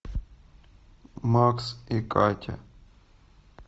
макс и катя